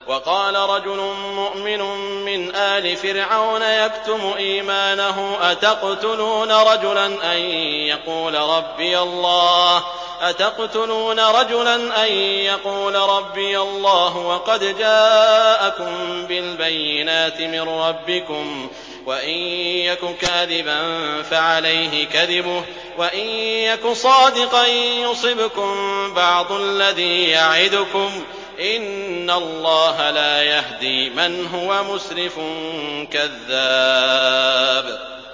وَقَالَ رَجُلٌ مُّؤْمِنٌ مِّنْ آلِ فِرْعَوْنَ يَكْتُمُ إِيمَانَهُ أَتَقْتُلُونَ رَجُلًا أَن يَقُولَ رَبِّيَ اللَّهُ وَقَدْ جَاءَكُم بِالْبَيِّنَاتِ مِن رَّبِّكُمْ ۖ وَإِن يَكُ كَاذِبًا فَعَلَيْهِ كَذِبُهُ ۖ وَإِن يَكُ صَادِقًا يُصِبْكُم بَعْضُ الَّذِي يَعِدُكُمْ ۖ إِنَّ اللَّهَ لَا يَهْدِي مَنْ هُوَ مُسْرِفٌ كَذَّابٌ